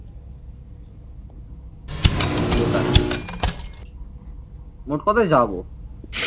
ওটাই মোট কথা যাবো